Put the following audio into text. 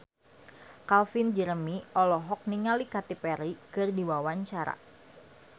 Calvin Jeremy olohok ningali Katy Perry keur diwawancara